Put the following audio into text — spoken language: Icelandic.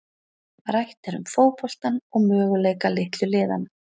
Rætt er um fótboltann og möguleika litlu liðanna.